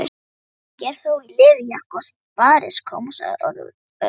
Ekki er ég þó í leðurjakka og spariskóm sagði Örn.